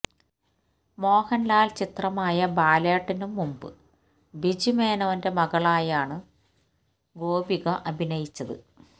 മോഹന്ലാല് ചിത്രമായ ബാലേട്ടനും മുന്പ് ബിജു മേനോന്റെ മകളായാണ് ഗോപിക അഭിനയിച്ചത്